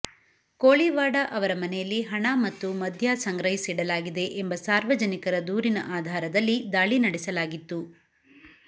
ಕೋಳಿವಾಡ ಅವರ ಮನೆಯಲ್ಲಿ ಹಣ ಮತ್ತು ಮದ್ಯ ಮದ್ಯ ಸಂಗ್ರಹಿಸಿಡಲಾಗಿದೆ ಎಂಬ ಸಾರ್ವಜನಿಕರ ದೂರಿನ ಆಧಾರದಲ್ಲಿ ದಾಳಿ ನಡೆಸಲಾಗಿತ್ತು